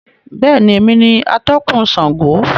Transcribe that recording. Bẹ́ẹ̀ni, èmi ni atọ̀kun Sángo